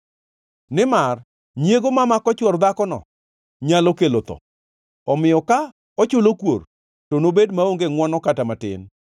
Nimar nyiego mamako chwor dhakono nyalo kelo tho, omiyo ka ochulo kuor, to nobed maonge ngʼwono kata matin.